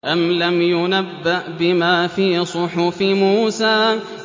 أَمْ لَمْ يُنَبَّأْ بِمَا فِي صُحُفِ مُوسَىٰ